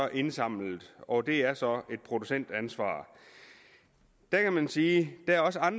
indsamlet og det er så et producentansvar der kan man sige